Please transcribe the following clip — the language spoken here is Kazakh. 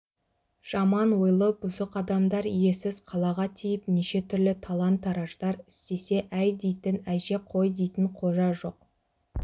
жаман ойлы бұзық адамдар иесіз қалаға тиіп неше түрлі талан-тараждар істесе әй дейтін әже қой дейтін қожа жоқ